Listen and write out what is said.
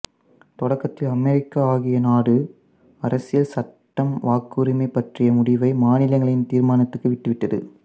தொடக்கத்தில் அமெரிக்க அக்கிய நாடு அரசியல் சட்டம் வாக்குரிமை பற்றிய முடிவை மாநிலங்களின் தீர்மானத்திற்கு விட்டுவிட்டது